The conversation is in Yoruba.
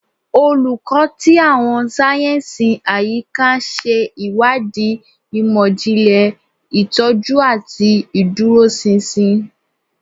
Olukọ ti Awọn sáyẹnsì Ayika ṣe iwadii imọ-jinlẹ, itọju, ati iduroṣinṣin